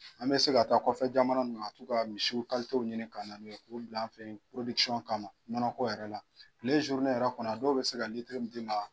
An bɛ se ka ta kɔfɛ jamanaw na tka misiw ɲini ka na n'o ye k'o bila an fɛ yan kama nɔnɔko yɛrɛ la tile yɛrɛ kɔnɔ dɔw bɛ se ka litiri min d'i ma